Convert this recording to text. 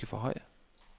højre